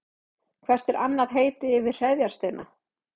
Hvert er annað heiti yfir hreðjarsteina?